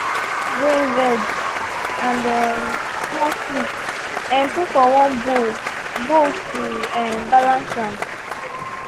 i mix grain veg and um small sweet um put for one bowl bowl to um balance am.